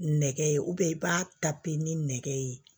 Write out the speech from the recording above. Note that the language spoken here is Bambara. Nɛgɛ ye i b'a ta pe nɛgɛ ye